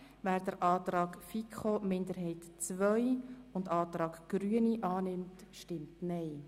Wer den Antrag der FiKo-Minderheit II und den Antrag der Grünen annimmt, stimmt Nein.